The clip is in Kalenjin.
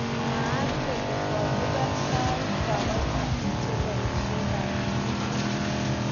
Mwaat kole kolipan soet kipaitinik chamaishekap njuguk